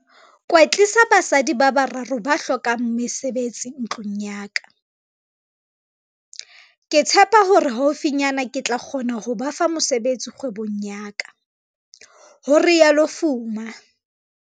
"kwetlisa basadi ba bararo ba hlokang mesebetsi ntlung ya ka. Ke tshepa hore haufinyana ke tla kgona ho ba fa mosebetsi kgwebong ya ka," ho rialo Fuma.